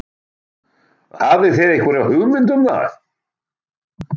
Hafið þið einhverja hugmynd um það?